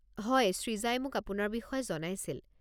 হয় সৃজাই মোক আপোনাৰ বিষয়ে জনাইছিল।